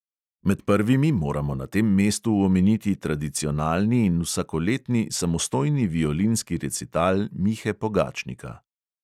Med prvimi moramo na tem mestu omeniti tradicionalni in vsakoletni samostojni violinski recital mihe pogačnika.